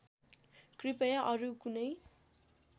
कृपया अरू कुनै